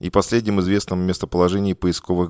и последним известно о местоположении поисковых